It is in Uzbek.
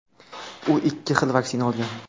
u ikki xil vaksina olgan.